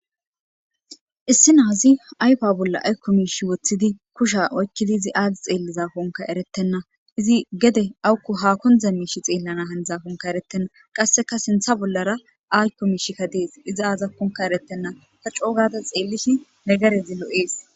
issi naazi ayfa bolla aykko miishi woththidi kusha oykkidi izi aagi xeelliza honka erettenna izi gede awukku ha kondza miishi xeellana handzahonka erettenna qasseka sintha bollara aykko miishikka dees iza aazakkonka erettenna ta coogada xeellishi negarezi lo'ees